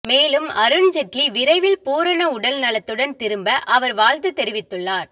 மேலும் அருண் ஜெட்லி விரைவில் பூரண உடல் நலத்துடன் திரும்ப அவர் வாழ்த்து தெரிவித்துள்ளார்